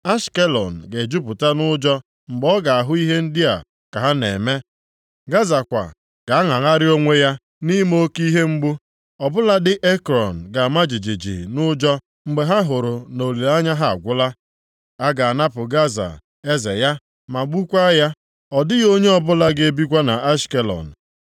Ashkelọn ga-ejupụta nʼụjọ mgbe ọ ga-ahụ ihe ndị a ka ha na-eme. Gaza kwa, ga-aṅagharị onwe ya nʼime oke ihe mgbu. Ọ bụladị Ekrọn ga-ama jijiji nʼụjọ mgbe ha hụrụ na olileanya ha agwụla. A ga-anapụ Gaza eze ya ma gbukwaa ya. Ọ dịghị onye ọbụla ga-ebikwa nʼAshkelọn.